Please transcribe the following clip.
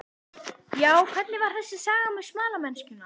Já, hvernig var þessi saga með smalamennskuna?